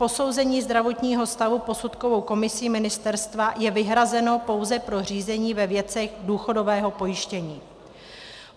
Posouzení zdravotního stavu posudkovou komisí ministerstva je vyhrazeno pouze pro řízení ve věcech důchodového pojištění.